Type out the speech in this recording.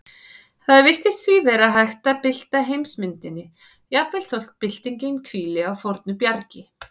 Það virðist því vera hægt að bylta heimsmyndinni, jafnvel þótt byltingin hvíli á fornu bjargi.